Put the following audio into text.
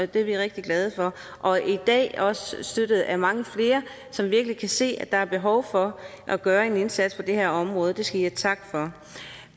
det er vi rigtig glade for og i dag er vi også støttet af mange flere som kan se at der virkelig er behov for at gøre en indsats på det her område det skal i have tak for